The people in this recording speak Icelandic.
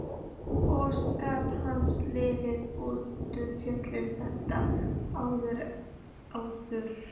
Og starf hans yrði nú fjölþættara en áður.